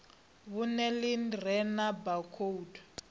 vhuṅe ḽi re na baakhoudu